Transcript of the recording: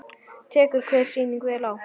Tekur hver sýning vel á?